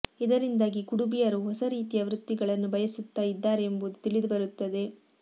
ಇದರಿಂದಾಗಿ ಕುಡುಬಿಯರು ಹೊಸ ರೀತಿಯ ವೃತ್ತಿಗಳನ್ನು ಬಯಸುತ್ತಾ ಇದ್ದಾರೆ ಎಂಬುದು ತಿಳಿದುಬರುತ್ತದೆ